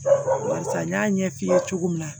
Barisa n y'a ɲɛf'i ye cogo min na